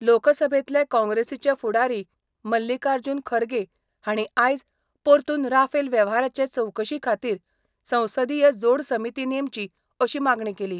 लोकसभेतले काँग्रेसीचे फुडारी मल्लिकार्जुन खरगे हांणी आयज परतून राफेल वेव्हाराचे चवकशी खातीर संसदीय जोडसमिती नेमची अशी मागणी केली.